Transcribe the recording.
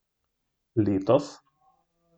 Letos?